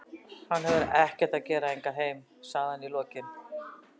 Hann hefur ekkert að gera hingað heim, sagði hann í lokin.